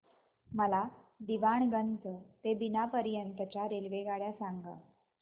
मला दीवाणगंज ते बिना पर्यंत च्या रेल्वेगाड्या सांगा